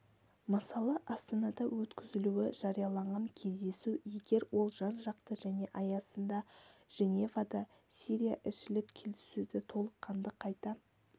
мысалы астанада өткізілуі жарияланған кездесу егер ол жан-жақты және аясында женевада сирияішілік келіссөзді толыққанды қайта